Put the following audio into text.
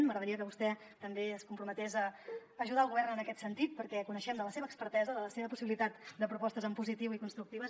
m’agradaria que vostè també es comprometés a ajudar el govern en aquest sentit perquè coneixem la seva expertesa la seva possibilitat de propostes en positiu i constructives